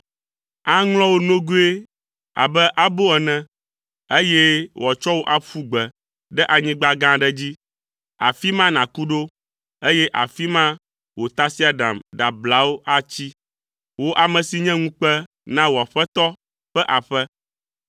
Aŋlɔ wò nogoe abe abo ene, eye wòatsɔ wò aƒu gbe ɖe anyigba gã aɖe dzi. Afi ma nàku ɖo, eye afi ma wò tasiaɖam ɖablawo atsi. Wò ame si nye ŋukpe na wò aƒetɔ ƒe aƒe.